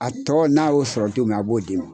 A tɔ n'a y'o sɔrɔ don min na a b'o d'i ma.